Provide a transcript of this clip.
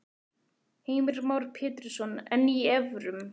Heimir Már Pétursson: En í evrum?